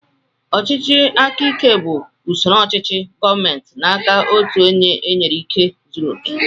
Ọchịchị aka ike bú usoro ochichi gọọmenti n'aka ọtu ónyé enyere ikike zụrụ oké.